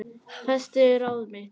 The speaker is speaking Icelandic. Festi ráð mitt